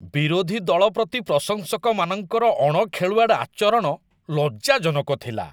ବିରୋଧୀ ଦଳ ପ୍ରତି ପ୍ରଶଂସକମାନଙ୍କର ଅଣଖେଳୁଆଡ଼ ଆଚରଣ ଲଜ୍ଜାଜନକ ଥିଲା।